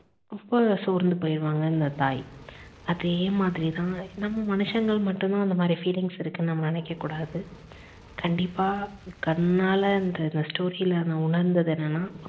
ரொம்ப சோர்ந்து போய்டுவாங்க இந்த தாய். அதே மாதிரி தான் நம்ம மனுஷங்களுக்கு மட்டும் தான் அந்த மாதிரி feelings இருக்குன்னு நம்ம நினைக்க கூடாது கண்டிப்பா கண்ணாலன்றது story ல நான் உணர்ந்தது என்னன்னா